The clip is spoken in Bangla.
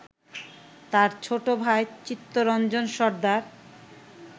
তার ছোট ভাই চিত্তরঞ্জন সর্দার